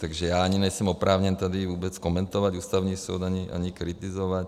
Takže já ani nejsem oprávněn tady vůbec komentovat Ústavní soud, ani kritizovat.